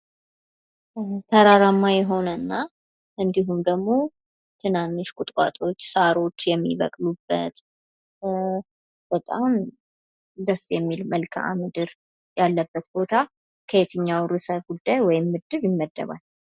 ተራራማ የሆነና እንድሁም ደግሞ ትናንሽ ቁጥቋጦዎች ሳሮች የሚበቅሉበት በጣም ደስ የሚል መልክዓምድር ያለበት ቦታ ከየትኛው ርዕሰ ጉዳይ ወይም ምድብ ይመደባል?